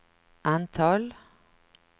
antal